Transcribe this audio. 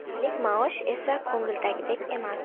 Oylik maosh esa ko‘ngildagidek emas.